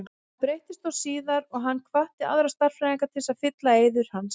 Það breyttist þó síðar og hann hvatti aðra stærðfræðinga til að fylla í eyður hans.